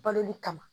Baloli kama